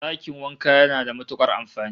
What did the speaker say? Dakin wanka yana da matukar amfani